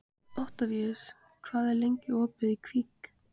Oktavíus, hvað er lengi opið í Kvikk?